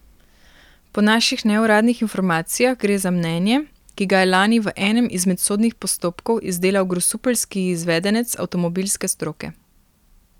Po naših neuradnih informacijah gre za mnenje, ki ga je lani v enem izmed sodnih postopkov izdelal grosupeljski izvedenec avtomobilske stroke.